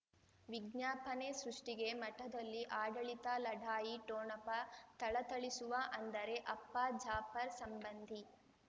ವಿಜ್ಞಾಪನೆ ಸೃಷ್ಟಿಗೆ ಮಠದಲ್ಲಿ ಆಡಳಿತ ಲಢಾಯಿ ಠೋಣಪ ಥಳಥಳಿಸುವ ಅಂದರೆ ಅಪ್ಪ ಜಾಫರ್ ಸಂಬಂಧಿ